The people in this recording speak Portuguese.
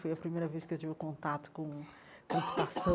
Foi a primeira vez que eu tive contato com